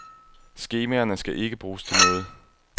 Skemaerne skal ikke bruges til noget.